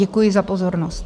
Děkuji za pozornost.